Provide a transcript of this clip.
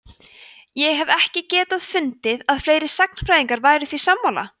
ég hef ekki getað fundið að fleiri sagnfræðingar væru því sammála